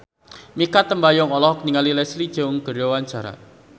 Mikha Tambayong olohok ningali Leslie Cheung keur diwawancara